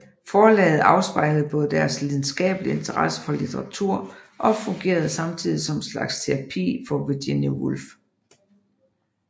Forlaget afspejlede både deres lidenskabelige interesse for litteratur og fungerede samtidig som en slags terapi for Virginia Woolf